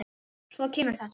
Svo kemur þetta